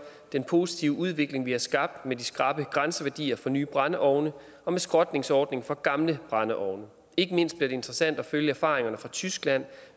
den positive udvikling vi har skabt med de skrappe grænseværdier for nye brændeovne og med skrotningsordning for gamle brændeovne ikke mindst bliver det interessant at følge erfaringerne fra tyskland